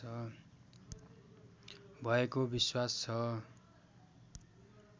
भएको विश्वास छ